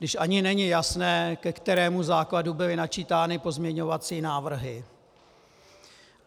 Když ani není jasné, ke kterému základu byly načítány pozměňovací návrhy.